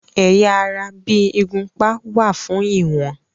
Ẹ̀yà ara bí ìgúnpá wà fún ìwọ̀n.